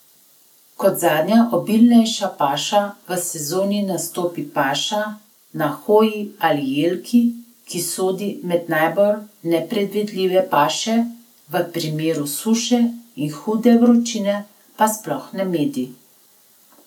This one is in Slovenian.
Kot zadnja obilnejša paša v sezoni nastopi paša na hoji ali jelki, ki sodi med najbolj nepredvidljive paše, v primeru suše in hude vročine pa sploh ne medi.